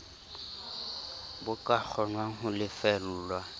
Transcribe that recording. bo ka kgonwang ho lefellwa